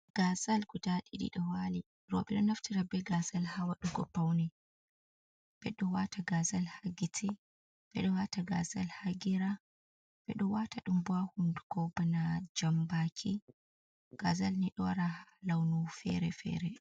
Gasal guda ɗiɗi ɗowali roɓe ɗo naftira be gasal hawa ɗugo paune, ɓeɗo wata gasal ha giteh, ɓeɗo wata gasal ha geram, ɓeɗo wata ɗum bo ha hunduko bana jambaki gazal ni ɗo wara launu fere-fere.